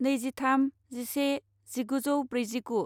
नैजिथाम जिसे जिगुजौ ब्रैजिगु